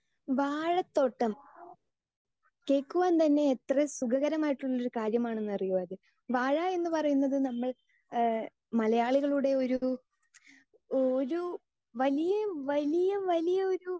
speaker 2 വാഴത്തോട്ടം കേൾക്കുവാൻ തന്നെ എത്ര സുഖകരമായിട്ടുള്ള കാര്യം ആണെന്നറിയോ അത് വാഴ എന്ന് പറയുന്നത് നമ്മൾ എഹ് മലയാളികളുടെ ഒരു ഒരു വലിയ വലിയ വലിയ ഒരു